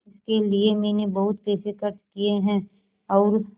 इसके लिए मैंने बहुत पैसे खर्च किए हैं और